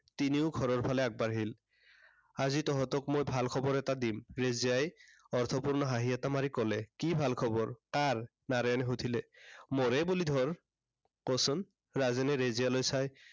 তিনিও ঘৰৰ ফালে আগবাঢ়িল। আজি তহঁতক মই ভাল খবৰ এটা দিম। ৰেজিয়াই অৰ্থপূৰ্ণ হাঁহি এটা মাৰি কলে। কি ভাল খবৰ, কাৰ? নাৰায়ণে সুধিলে। মোৰে বুলি ধৰ। ক' চোন। ৰাজেনে ৰেজিয়ালৈ চাই